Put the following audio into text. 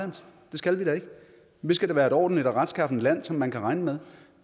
skal vi da ikke vi skal da være et ordentligt og retskaffent land som man kan regne med